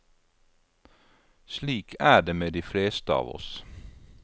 Slik er det med de fleste av oss.